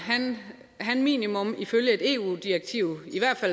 en minimum